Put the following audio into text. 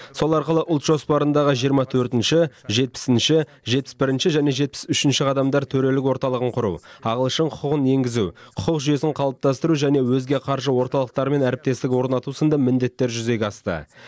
сол арқылы ұлт жоспарындағы жиырма төртінші жетпісінші жетпіс бірінші және жетпіс үшінші қадамдар төрелік орталығын құру ағылшын құқығын енгізу құқық жүйесін қалыптастыру және өзге қаржы орталықтарымен әріптестік орнату сынды міндеттер жүзеге асты